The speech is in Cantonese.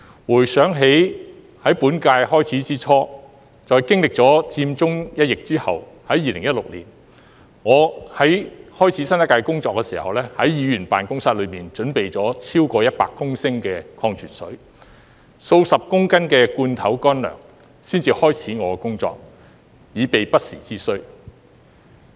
回想起在本屆開始之初，便經歷了佔中一役後，在2016年，我在開始新一屆工作時，便在議員辦公室內準備了超過100公升的礦泉水，數十公斤的罐頭乾糧才開始我的工作，以備不時之需。